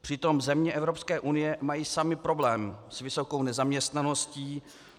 Přitom země Evropské unie mají samy problém s vysokou nezaměstnaností.